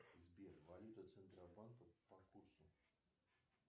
сбер валюта центробанка по курсу